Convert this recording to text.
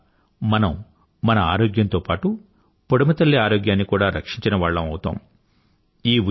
దీనివల్ల మనం మన ఆరోగ్యంతో పాటూ పుడమితల్లి ఆరోగ్యాన్ని కూడా రక్షించినవాళ్లం అవుతాము